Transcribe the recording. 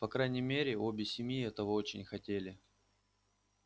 по крайней мере обе семьи этого очень хотели